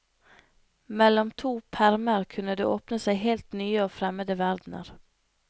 Mellom to permer kunne det åpne seg helt nye og fremmede verdener.